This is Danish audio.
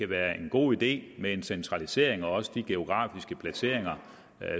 være en god idé med en centralisering og også med de geografiske placeringer